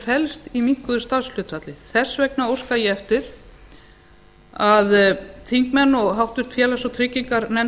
felst í minnkuðu starfshlutfalli þess vegna óska ég eftir að þingmenn og háttvirtur félags og trygginganefnd